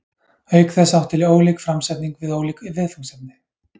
Auk þess átti ólík framsetning við ólík viðfangsefni.